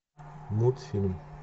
мультфильм